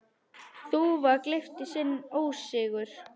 Þúfa gleypti sinn ósigur.